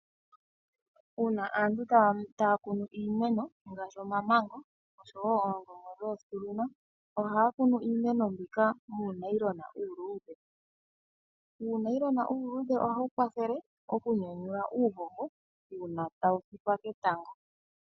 Uuna aantu taya kunu iimeno ngaashi omamango oshowo oongongo ohaya kunu iimeno mbika muunayilona uuludhe. Uunayilona uuludhe ohawu kwathele oku nyanyula uuhoho uuna tawu fikwa ketango.